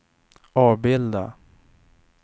avbilda